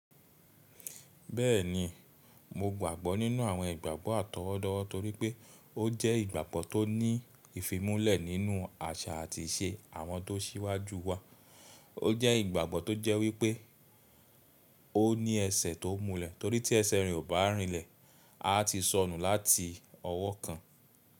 Bẹ́ẹ̀ni, mo gbàgbọ́ nínú àwọn ìgbàgbọ́ àtọwọ́dọ́wọ́ torípẹ́ ó jẹ́ ìgbàgbọ́ tó ní ìfimúnlẹ̀ nínú àṣà àti ìṣe àwọn tó síwájú wa. Ó jẹ́ ìgbàgbọ́ tó jẹ́ wípẹ́ ó ní ẹsẹ̀ tó múlẹ̀ torí tí ẹsẹ̀ rìn ò bá rìnlẹ̀, a ti sọnù láti ọwọ́ kan.